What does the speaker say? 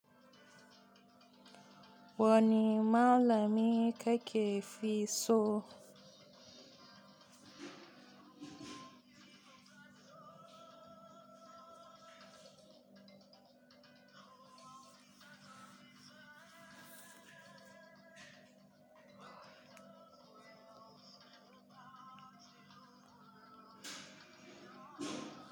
Wani malami ka ke fi so?